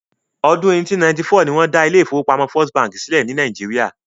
Ọdún 1894 ni wọ́n dá ilé ìfọwọ́pamo First bank sílẹ̀ ní Nàìjíría.